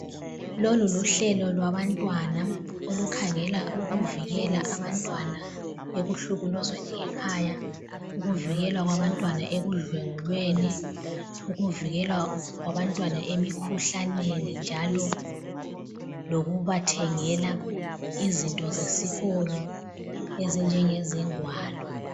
Lolu luhlelo lwabantwana, olukhangela ukuvikela abantwana ekuhlukuluzweni ngekhaya, ukuvikelwa kwabantwana ekudlwengulweni, ukuvikelwa kwabantwana emikhuhlaneni njalo lokubathengela izinto zesikolo ezinjengezingwalo.